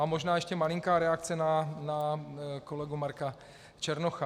A možná ještě malinká reakce na kolegu Marka Černocha.